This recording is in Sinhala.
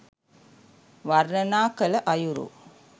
වර්ණනා කළ අයුරු